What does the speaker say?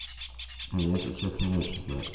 если честно не очень знаю